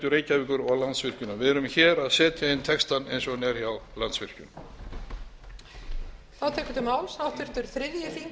reykjavíkur og landsvirkjunar við erum hér að setja inn textann eins og hann er hjá landsvirkjun